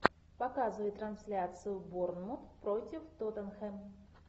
показывай трансляцию борнмут против тоттенхэм